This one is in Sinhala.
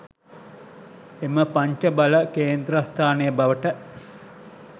එම පංච බල කේන්ද්‍රස්ථානය බවට